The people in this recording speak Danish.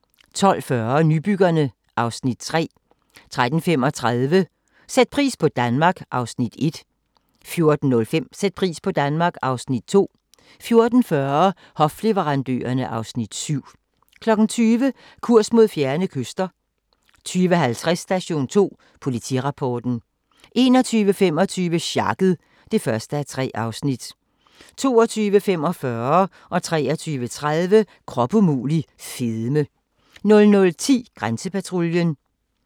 12:40: Nybyggerne (Afs. 3) 13:35: Sæt pris på Danmark (Afs. 1) 14:05: Sæt pris på Danmark (Afs. 2) 14:40: Hofleverandørerne (Afs. 7) 20:00: Kurs mod fjerne kyster 20:50: Station 2: Politirapporten 21:25: Sjakket (1:3) 22:45: Krop umulig - fedme 23:30: Krop umulig - fedme 00:10: Grænsepatruljen